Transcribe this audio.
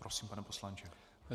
Prosím, pane poslanče.